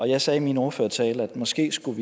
jeg sagde i min ordførertale at vi måske skulle